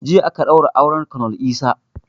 Jiya aka ɗaura auren konel Isah